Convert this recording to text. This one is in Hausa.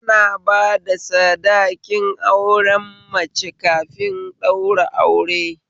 Ana bada sadakin auren mace kafin ɗaura aure